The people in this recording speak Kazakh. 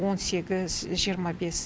он сегіз жиырма бес